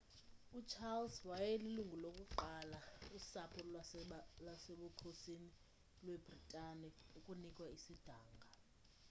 ucharles wayelilungu lokuqala usapho lwasebukhosini lwebritane ukunikwa isidanga